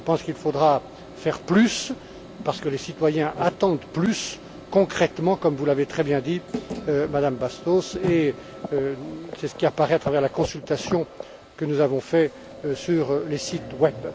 Je pense qu'il faudra en faire plus, parce que les citoyens attendent plus, concrètement, comme vous l'avez très bien dit, Madame Bastos, et c'est ce qui ressort de la consultation que nous avons réalisée sur les sites web.